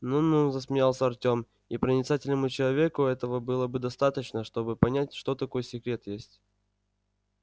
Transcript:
ну-ну замялся артём и проницательному человеку этого было бы достаточно чтобы понять что такой секрет есть